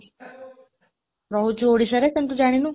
ରହୁଛୁ ଓଡ଼ିଶାରେ, କିନ୍ତୁ ଜାଣିନୁ।